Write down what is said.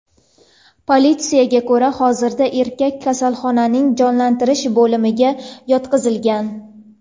Politsiyaga ko‘ra, hozirda erkak kasalxonaning jonlantirish bo‘limiga yotqizilgan.